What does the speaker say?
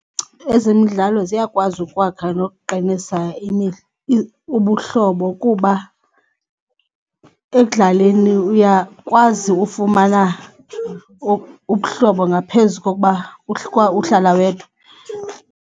Ezemidlalo ziyakwazi ukwakha nokuqinisa ubuhlobo kuba ekudlaleni uyakwazi ufumana ubuhlobo ngaphezu kokuba uhlala wedwa.